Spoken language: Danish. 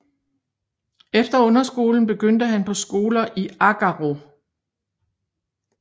Efter underskolen begyndte han på skoler i Agaro